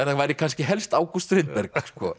það væri kannski helst August Strindberg